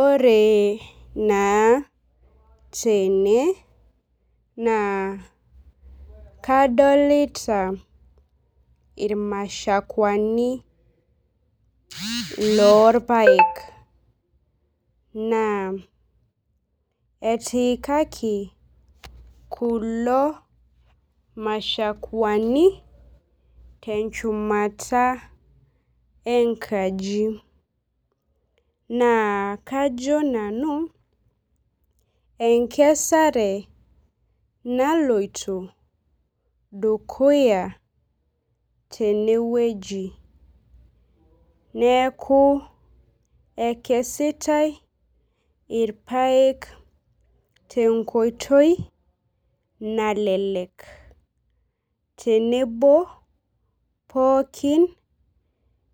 Ore naa tene naa kadolita irmashakuani lorpaek naa etiikaki kulo mashakuani tenchumata enkaji naa kajo nanu enkesare naloito dukuya teneweji. Neeku ekesitae irpeak te nkoitoi nalelek tenebo pookin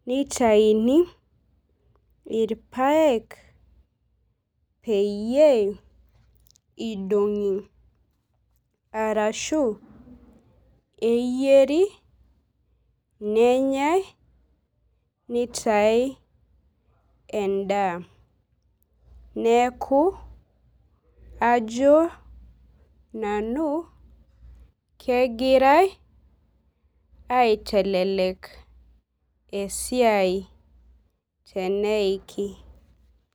nitaini irpaek peyie idong'i arashu eyieri nenyae nitae edaa. Neeku ajo nanu kegurae aitelelek esiai teneiki.